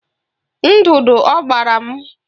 Ndụdụ ọ gbara m na-afụ ụfụ